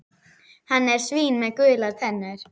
Hann er svín með gular tennur.